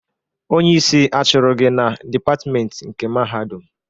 Onye isi achụrụ gị na dịpatment nke Mahadum?